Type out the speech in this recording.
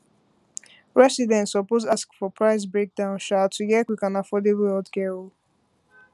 residents suppose ask for price um breakdown to get quick and affordable um healthcare